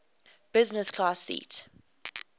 business class seat